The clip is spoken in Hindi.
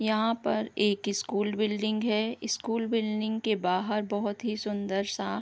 यहाँ पर एक स्कूल बिल्डिंग है स्कूल बिल्डिंग के बाहर बहोत ही सुंदर-सा --